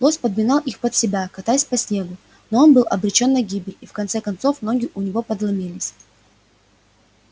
лось подминал их под себя катаясь по снегу но он был обречён на гибель и в конце концов ноги у него подломились